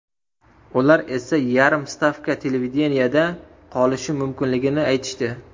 Ular esa yarim stavka televideniyeda qolishim mumkinligini aytishdi.